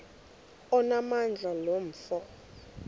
onamandla lo mfo